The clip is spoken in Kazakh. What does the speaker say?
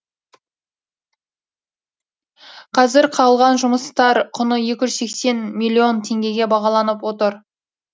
қазір қалған жұмыстар құны екі жүз сексен миллион теңгеге бағаланып отыр